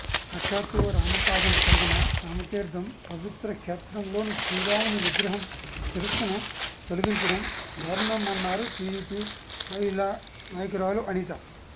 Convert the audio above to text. సాక్షాత్తు రామపాదం కలిగిన రామతీర్థం పవిత్ర క్షేత్రంలో శ్రీరాముని విగ్రహం శిరస్సును తొలగించడం దారుణమన్నారు టిడిపి మహిళా నాయకురాలు అనిత